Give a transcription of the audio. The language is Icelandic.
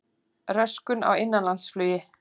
Röskun á innanlandsflugi